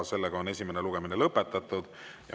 Esimene lugemine on lõpetatud.